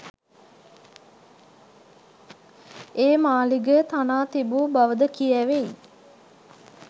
ඒ මාලිගය තනා තිබූ බවද කියැවෙයි.